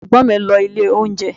Àwọn Ẹ̀gbọ́n mi ń lọ ilé oúnjẹ